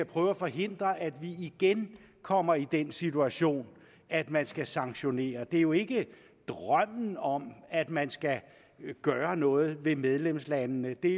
prøve at forhindre at vi igen kommer i den situation at man skal sanktionere det er jo ikke en drøm om at man skal gøre noget ved medlemslandene det